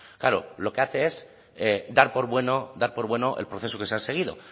claro lo que hace es dar por bueno dar por bueno el proceso que se ha seguido